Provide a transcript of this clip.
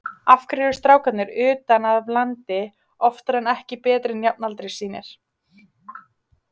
Af hverju eru strákarnir utan af landi oftar en ekki betri en jafnaldrar sínir?